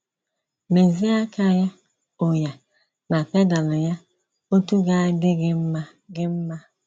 Mèzie aka ya, òya, na pedal ya otú ga - adị gị mma gị mma.